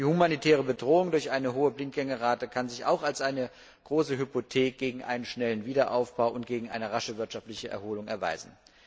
Die humanitäre Bedrohung durch eine hohe Blindgängerrate kann sich auch als eine große Hypothek beim schnellen Wiederaufbau und einer raschen wirtschaftlichen Erholung erweisen.